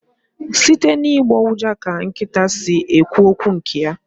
Site n'ịgbọ ụja ka nkịta si ekwu okwu nke ya